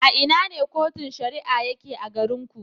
A ina ne Cotun Shari'a yake a garin ku.